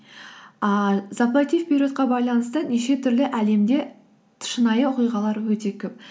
ыыы заплати вперед ке байланысты неше түрлі әлемде шынайы оқиғалар өте көп